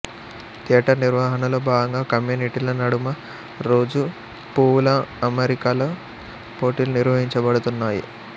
theatre నిర్వహణలో భాగంగా కమ్యూనిటీల నడుమ రోజు పూవుల అమరికలో పోటీలు నిర్వహించబడుతున్నాయి